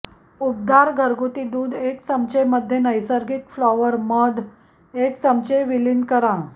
उबदार घरगुती दूध एक चमचे मध्ये नैसर्गिक फ्लॉवर मध एक चमचे विलीन करा